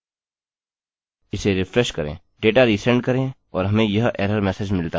इसे रिफ्रेश करें data resend करें और हमें यह एरर मेसेज मिलता है